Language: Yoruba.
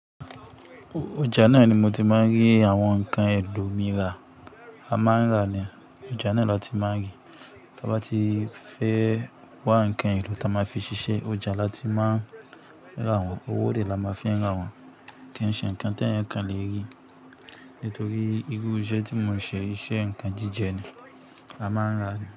Ọja náà ni mo ti máa ń rí àwọn nǹkan elò mí rà. A máa ń rà ni, ọjà náà lati má ń rí. Tí a bá ti fẹ́ wá nǹkan èlò ta máa fi ṣiṣẹ́, ọjà la ti máa rà wọ́n. Owó dẹ la máa fi n rà wọ́n. Kìí ṣe nǹkan ti èèyàn kan lè rí. Nítorí irú iṣẹ tí mo ń ṣe, iṣẹ́ nǹkan jíjẹ ni a máa ń rà ni.